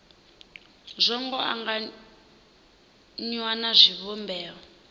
zwo ngo anganywa na zwivhumbeo